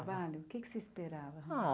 o que é que você esperava? Ah